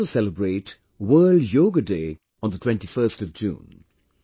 We will also celebrate 'World Yoga Day' on 21st June